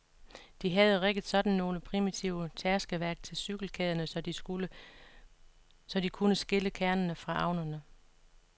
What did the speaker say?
De havde rigget sådan nogle primitive tærskeværk til cykelkæderne, så de kunne skille kernerne fra avnerne.